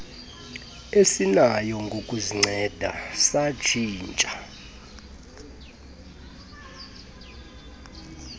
esinayo ngokuzinceda satshintsha